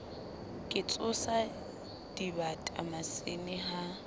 ke tsosa dibata masene ha